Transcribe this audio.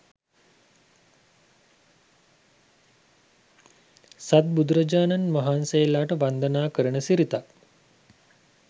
සත් බුදුරජාණන් වහන්සේලාට වන්දනා කරන සිරිතක්